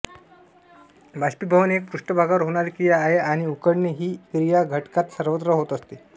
बाष्पीभवन एक पृष्ठभागावर होणारी क्रिया आहे आणि उकळणे ही क्रिया घटकात सर्वत्र होत असते